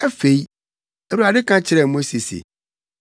Afei, Awurade ka kyerɛɛ Mose se,